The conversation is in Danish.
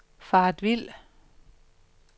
faret vild